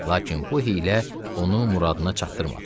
Lakin bu hiylə onu muradına çatdırmadı.